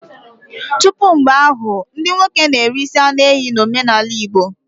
Tupu mgbe ahụ, ndị nwoke na-eri isi anụ ehi na omenala Igbo.